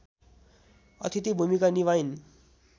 अथिति भूमिका निभाइन्